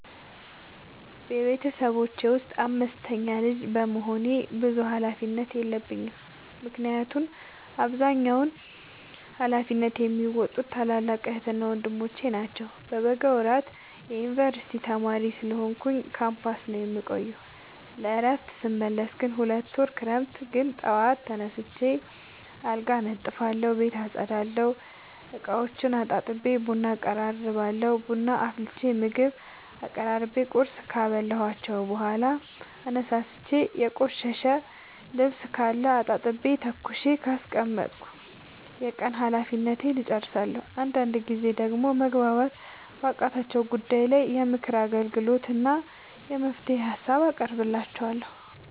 ቤተሰቦቼ ውስጥ አምስተኛ ልጅ በመሆኔ ብዙ ሀላፊነት የለብኝ ምክንያቱን አብዛኛውን ሀላፊነት የሚዎጡት ታላላቅ ዕህትና ወንድሞቼ ናቸው። በበጋ ወራት የዮንበርሲቲ ተማሪ ስለሆንኩኝ ካምፖስ ነው የምቆየው። ለእረፍት ስመለስ ግን ሁለት ወር ክረምት ግን ጠዋት ተነስቼ አልጋ አነጥፋለሁ ቤት አፀዳለሁ፤ እቃዎቹን አጣጥቤ ቡና አቀራርባለሁ ቡና አፍልቼ ምግብ አቀራርቤ ቁርስ ካበላኋቸው በኋላ አነሳስቼ። የቆሸሸ ልብስካለ አጣጥቤ ተኩሼ ካስቀመጥኩ የቀን ሀላፊነቴን እጨርሳለሁ። አንዳንድ ጊዜ ደግሞ መግባባት ባቃታቸው ጉዳይ ላይ የምክር አገልግሎት እና የመፍትሄ ሀሳብ አቀርብላቸዋለሁ።